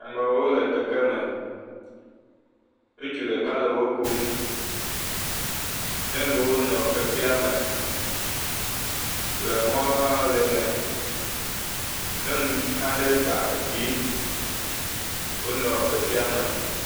Amewo le keke me. Ŋutsu ɖeka le wokom. Nyɔnuwo nɔ kekea me le mɔ hã le eme. Nyɔnu aɖe kpa vi wonɔ kekea me.